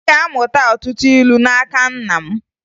Ị ga-amụta ọtụtụ ilu n'aka nna m